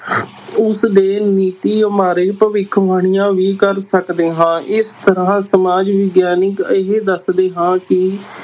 ਉਸ ਦੇ ਨੀਤੀਆਂ ਬਾਰੇ ਭਵਿੱਖਵਾਣੀਆਂ ਵੀ ਕਰ ਸਕਦੇ ਹਾਂ, ਇਸ ਤਰ੍ਹਾਂ ਸਮਾਜ ਵਿਗਆਨਕ ਇਹ ਦੱਸਦੇ ਹਾਂ ਕਿ